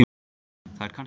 Það er kannski hættan.